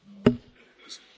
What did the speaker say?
Herr Präsident!